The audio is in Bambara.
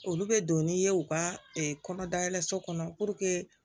Olu bɛ don ni ye u ka kɔnɔdayɛlɛ so kɔnɔ